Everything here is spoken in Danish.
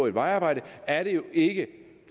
et vejarbejde er det jo ikke